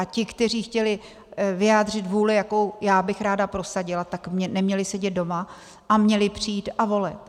A ti, kteří chtěli vyjádřit vůli, jakou já bych ráda prosadila, tak neměli sedět doma a měli přijít a volit.